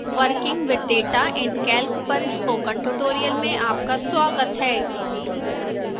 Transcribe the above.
working with data in calc पर spoken tutorial में आपका स्वागत है